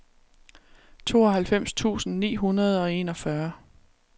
tooghalvfems tusind ni hundrede og enogfyrre